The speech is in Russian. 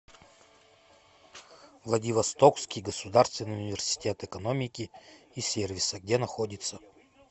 владивостокский государственный университет экономики и сервиса где находится